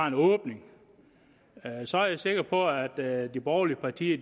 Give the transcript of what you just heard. en åbning så er jeg sikker på at de borgerlige partier